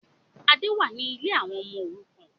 Adé wá ní lè àwọn ọmọ òrukàn